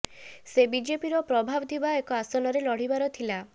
ସେ ବିଜେପିର ପ୍ରଭାବ ଥିବା ଏକ ଆସନରେ ଲଢିବାର ଥିଲା